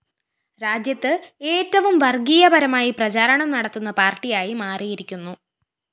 രാജ്യത്ത് ഏറ്റവും വര്‍ഗ്ഗീയപരമായി പ്രചാരണം നടത്തുന്ന പാര്‍ട്ടിയായി മാറിയിരിക്കുന്നു